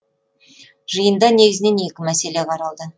жиында негізінен екі мәселе қаралды